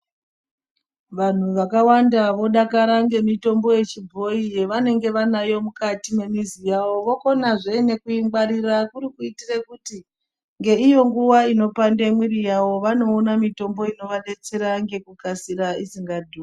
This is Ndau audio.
Vantu vakawanda vodakara ngemutombo yechibhoyi yavanenge vanayo mukati mwemuzi wavo vokonazve nekuigwarira kuri kuitire kuti ngeiyo nguwa inopande mwiri yavo vanoona mutombo inovadetsera ngekukasira isinga dhuri.